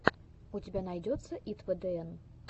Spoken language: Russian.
у тебя найдется итвдн